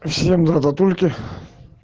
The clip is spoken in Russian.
всем драдатульки